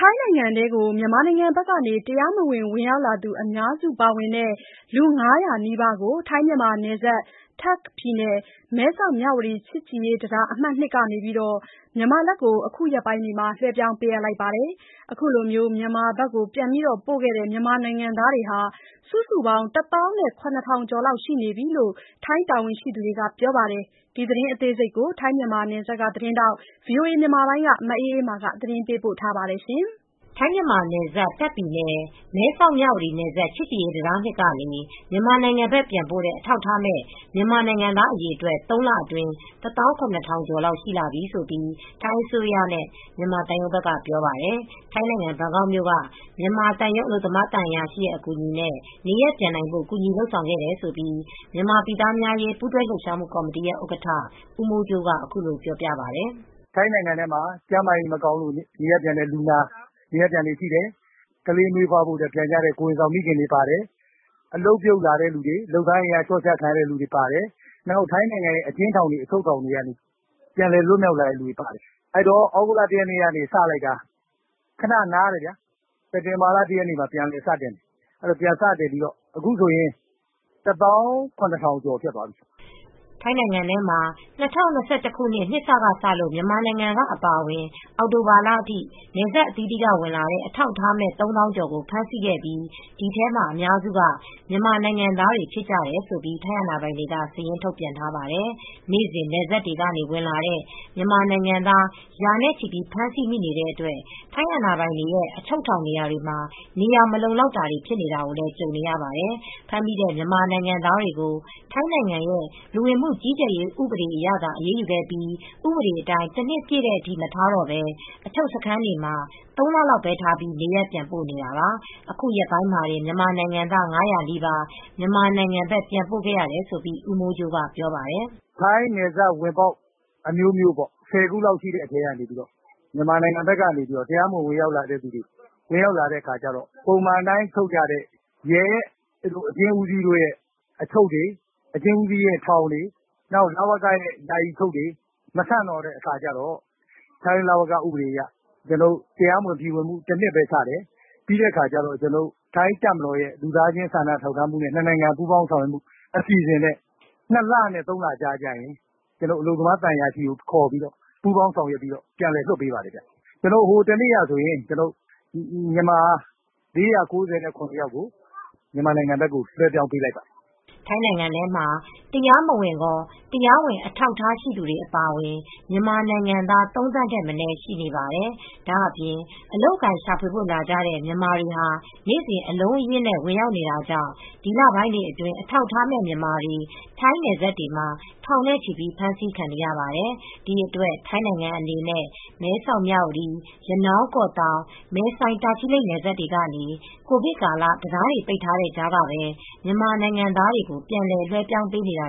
ိုင်းနိုင်ငံထဲကို မြန်မာနိုင်ငံဘက်က တရားမဝင် ဝင်ရောက်လာသူအများစုပါတဲ့ လူ ၅၀၀ နီးပါးကို ထိုင်း မြန်မာနယ်စပ် တာ့ခ်ပြည်နယ်၊ မဲဆောက် မြဝတီချစ်ကြည်ရေးတံတား အမှတ်(၂) ကနေ မြန်မာဘက်ကို အခုရက်ပိုင်းတွေမှာ လွှဲပြောင်းပေးခဲ့ပါတယ်။ အခုလို ပြန်ပို့တဲ့ မြန်မာနိုင်ငံသားတွေ စုစုပေါင်း ၁ သောင်း ၇ ထောင်ကျော်ရှိပြီဖြစ်ကြောင်း ထိုင်းတာဝန်ရှိသူတွေက ပြောပါတယ်။ ဒီသတင်းကို ဗွီအိုအေသတင်းထောက် မအေးအေးမာကသတင်းပေးပို့ထားပါတယ်။ ထိုင်းမြန်မာနယ်စပ် တာ့ခ်ပြည်နယ် မဲဆောက်-မြဝတီနယ်စပ် ချစ်ကြည်ရေးတံတား (၂) ကနေ မြန်မာနိုင်ငံဘက် ပြန်ပို့တဲ့ အထောက်အထားမဲ့ မြန်မာနိုင်ငံသားအရေအတွက် ၃ လ အတွင်း ၁၇,၀၀၀ ကျော်လောက်ရှိတယ်လို့ ထိုင်းအစိုးရနဲ့ မြန်သံရုံးဘက်က ပြောပါတယ်။ ထိုင်းနိုင်ငံ ဘန်ကောက်မြို့က မြန်မာသံရုံး အလုပ်သမားသံအရာရှိရဲ့အကူညီနဲ့နေရပ်ပြန်နိုင်ဖို့ ကူညီလုပ်ဆောင်ခဲ့တယ်လို့ မြန်မာပြည်သားများအရေး ပူးတွဲလှုပ်ရှားမှုကော်မတီ ဥက္ကဋ္ဌ ဦးမိုးကြိုးက အခုလိုပြောပါတယ်။ “ထိုင်းနိုင်ငံထဲမှာ မကျန်းမာလို့ နေရပ်ပြန်လူနာတွေပါတယ်။ မီးဖွားဖို့ ပြန်တဲ့ကိုယ်ဝန်ဆောင်တွေပါတယ်။ အလုပ်ပြုတ်လာတဲ့သူတွေ၊ လုပ်သားအင်အားလျော့ချခံရသူတွေပါတယ်။ ထိုင်းအကျဉ်းထောင်တွေက ပြန်လည်လွတ်မြောက်လာတဲ့ သူတွေပါတယ်။ သြဂုတ်လ ၁ ရက်နေ့စပြီး ခနနားတယ်။ စက်တင်ဘာလ ၁ ရက်နေ့မှာ ပြန်စတယ်။ အခုဆိုရင် ၁၇,၀၀၀ ကျော်ဖြစ်သွားပြီ။” ထိုင်းနိုင်ငံထဲမှာ ၂၀၂၁ ခုနှစ်ထဲက စလို့ မြန်မာနိုင်ငံက အပါအဝင် အောက်တိုဘာလအထိ နယ်စပ်အသီးသီးက ဝင်လာတဲ့ အထောက်အထားမဲ့ ၃ သောင်းကျော်ကို ဖမ်းဆီးခဲ့ပြီး ဒီထဲမှာအများစုက မြန်မာနိုင်ငံသားတွေဖြစ်တယ်လို့ ထိုင်းအာဏာပိုင်တွေက စာရင်း ထုတ်ပြန်ထားပါတယ်။ နေ့စဉ်နယ်စပ်တွေကနေ ဝင်လာနေတဲ့မြန်မာနိုင်ငံသား ရာနဲ့ ချီပြီးဖမ်းဆီးမိနေတဲ့အတွက် ထိုင်းအာဏာပိုင်တွေရဲ့အချုပ်ထောင်တွေမှာ နေရာ မလုံမလောက် ဖြစ်နေပါတယ်။ ဖမ်းမိတဲ့မြန်မာနိုင်ငံသားတွေကို ထိုင်းနိုင်ငံရဲ့လူဝင်မှု ကြီးကြပ်ရေး လဝကဥပဒေအရသာ အရေးယူခဲ့ပြီး ဥပဒေအတိုင်း တနှစ်ပြည့်တဲ့အထိ မထားတော့ဘဲ အချုပ်စခန်းတွေမှာ ၃ လလောက်ပဲထားပြီး နေရပ်ပြန်ပို့ နေတာပါ။ အခု ရက်ပိုင်းမှာတင်မြန်မာနိုင်ငံသား ၅၀၀ နီးပါး မြန်မာနိုင်ငံဘက် ပြန်ပို့ခဲ့ရတယ်လို့ ကိုမိုးကြိုးက ပြောပါတယ်။ “ထိုင်းနယ်စပ်ဝင်ပေါက်အမျိုးမျိုးပေါ့။ ၁၀ ခုလောက်ရှိတဲ့အထဲက မြန်မာနိုင်ငံဘက်က လူတွေ တရားမဝင် ဝင်ရောက်လာတဲ့အခါကျတော့ ပုံမှန်အတိုင်း အချုပ်တွေ၊ ရဲအကျဉ်းဦးစီးတို့၊ ရဲအချုပ်တွေ၊လဝကအချုပ်ထောင်တွေ မဆန့်တော့တဲ့အခါကျတော့ထိုင်းလဝက ဥပဒေအရ တနှစ်ပဲချတယ်။ ထိုင်းတပ်မတော်ရဲ့နှစ်နိုင်ငံပူးပေါင်းဆောင် ရွက်မှုအစီစဉ်နဲ့ ၂ လနဲ့ ၃ လကြားမှာ အလုပ်သမားသံအရာရှိကို ခေါ်ပြီး ပူးပေါင်းဆောင်ရွက်ပြီးပြန်လွှတ်ပေးပါတယ်ခင်ဗျ။ ဟိုတနေ့တုန်းကတော့ မြန်မာ ၄၉၇ ယောက်ကို မြန်မာနိုင်ငံဘက်ကို လွှံပြောင်းပေးလိုက်ပါတယ်။” ထိုင်းနိုင်ငံမှာ တရားမဝင်ကော တရားဝင်အထောက်အထားရှိသူတွေအပါအဝင် မြန်မာနိုင်ငံသား ၃ သန်းထက်မနည်း ရှိနေပါတယ်။ ဒါ့အပြင် အလုပ်အကိုင်ရှာဖွေဖို့ လာကြတဲ့မြန်မာတွေဟာ နေ့စဉ်အလုံးအရင်းနဲ့ ဝင်ရောက်နေတာကြောင့် ဒီလပိုင်းတွေအတွင်း အထောက်အထားမဲ့ မြန်မာတွေ ထိုင်းနယ်စပ်တွေမှာ ထောင်နဲ့ချီပြီးဖမ်းဆီးခံနေရပါတယ်။ ဒီအတွက် ထိုင်းနိုင်ငံအနေနဲ့ မဲဆောက် မြဝတီ ရနောင်း၊ ကော့သောင်း၊ မယ်ဆိုင်၊ တာချီလိတ်နယ်စပ်တွေကနေ ကိုဗစ်ကာလ တံတားတွေပိတ်ထားတဲ့ကြားကပဲ မြန်မာနိုင်ငံသားတွေကို ပြန်လည် လွှဲပြောင်းပေးနေတာ